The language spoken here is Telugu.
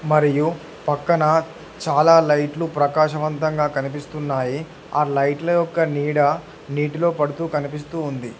మరియు పక్కన చాలా లైట్లు ప్రకాశవంతంగా కనిపిస్తున్నాయి ఆ లైట్లు యొక్క నీడ నీటిలో పడుతూ కనిపిస్తూ ఉంది.